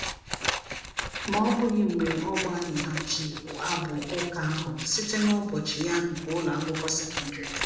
Ma ọ bụghị mgbe ọ gbaghịghachi abụ ụka ahụ site na ụbọchị ya nke ụlọ akwụkwọ sekọndrị.